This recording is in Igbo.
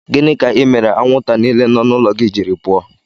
Gịnị ka imere anwụnta niile nọ n'ụlọ gị jiri pụọ?